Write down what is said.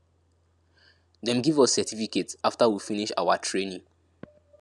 dem give us certificate after we finish awa training